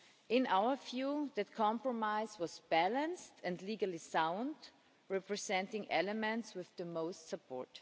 In our view, that compromise was balanced and legally sound, representing elements with the most support.